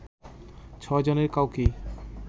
ছয় জনের কাউকেই